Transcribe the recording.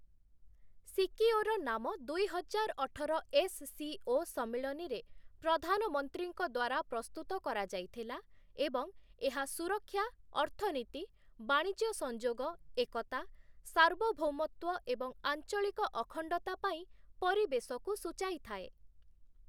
Secure ନାମ ଦୁଇହଜାର ଅଠର ଏସ୍‌.ସି.ଓ. ସମ୍ମିଳନୀରେ ପ୍ରଧାନମନ୍ତ୍ରୀଙ୍କ ଦ୍ୱାରା ପ୍ରସ୍ତୁତ କରାଯାଇଥିଲା ଏବଂ ଏହା ସୁରକ୍ଷା, ଅର୍ଥନୀତି, ବାଣିଜ୍ୟ ସଂଯୋଗ, ଏକତା, ସାର୍ବଭୌମତ୍ଵ ଏବଂ ଆଞ୍ଚଳିକ ଅଖଣ୍ଡତା ପାଇଁ ପରିବେଶକୁ ସୂଚାଇ ଥାଏ ।